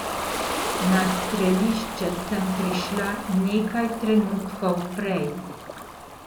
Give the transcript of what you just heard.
Na strelišče sem prišla nekaj trenutkov prej.